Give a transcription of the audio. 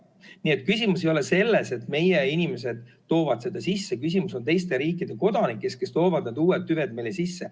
Nii et küsimus ei ole selles, et meie inimesed toovad seda, vaid küsimus on teiste riikide kodanikes, kes toovad need uued tüved meile sisse.